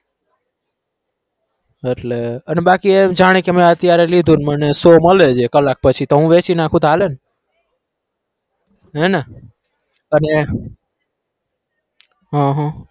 એટલે અને બાકી જાણે કે મે અત્યારે લીધો મને મળે છે કલાક પછી તો હું વેચી નાખું તો હાલે ને હે ને અને હ હ